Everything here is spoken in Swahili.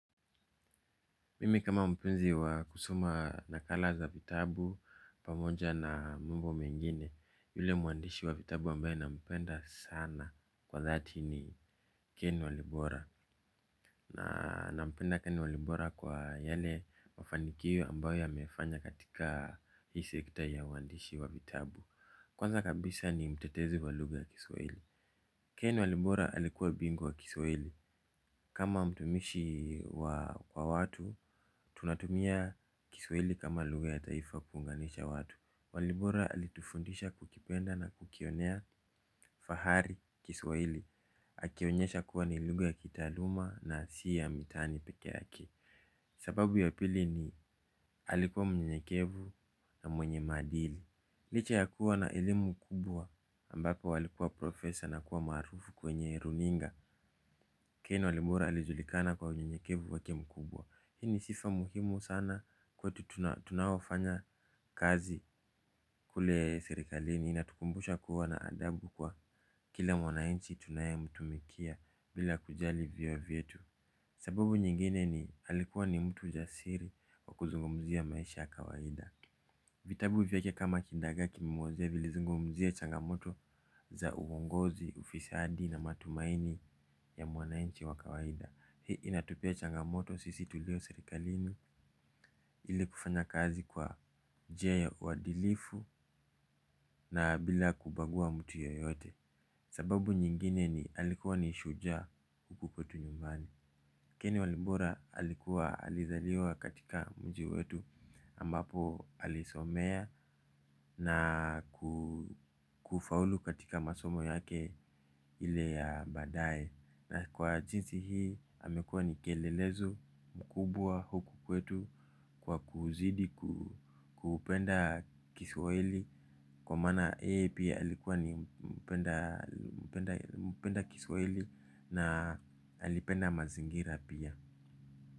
Mimi kama mpenzi wa kusoma nakala za vitabu pamoja na mambo mengine. Yule mwandishi wa vitabu ambaye nampenda sana kwa dhati ni ken walibora. Nampenda ken walibora kwa yale mafanikio ambayo amefanya katika hii sekta ya uandishi wa vitabu. Kwanza kabisa ni mtetezi wa lugha ya kiswahili. Ken walibora alikuwa bingwa wa kiswahili. Kama mtumishi wa watu, tunatumia kiswahili kama lugha ya taifa kuunganisha watu. Walibora alitufundisha kukipenda na kukionea fahari kiswahili. Akionyesha kuwa ni lugha ya kitaaluma na si ya mitaani peke yake. Sababu ya pili ni alikuwa mnyenyekevu na mwenye maadili. Licha ya kuwa na elimu kubwa ambapo alikuwa profesa na kuwa maarufu kwenye runinga. Ken Walibora alijulikana kwa unyenyekevu wake mkubwa. Hii ni sifa muhimu sana kwetu tunaofanya kazi kule serikalini. Inatukumbusha kuwa na adabu kwa kila mwananchi tunayemtumikia bila kujali vyeo vyetu. Sababu nyingine ni alikuwa ni mtu jasiri wa kuzungumzia maisha ya kawaida. Vitabu vyake kama kidagaa kimemwozea vilizungumzia changamoto za uongozi, ufisadi na matumaini ya mwananchi wa kawaida. Hii inatupea changamoto sisi tulio serikalini ili kufanya kazi kwa je uadilifu na bila kubagua mtu yeyote. Sababu nyingine ni alikuwa ni shujaa huku tu nyumbani. Ken Walibora alikuwa alizaliwa katika mji wetu ambapo alisomea na kufaulu katika masomo yake ile ya baadaye. Na kwa jinsi hii amekuwa ni kielelezo mkubwa huku kwetu kwa kuzidi kupenda kiswahili. Kwa maana yeye pia alikuwa ni mpenda kiswahili na alipenda mazingira pia.